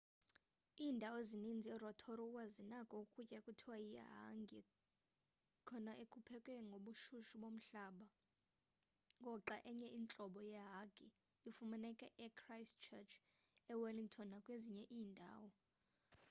iindawo ezininzi erotorua zinako ukutya ekuthiwa yihangi kona okuphekwe ngobushushu bomhlaba ngoxa enye intlobo yehangi ifumaneka echristchurch ewellington nakwezinye iindawo